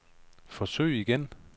forsøg igen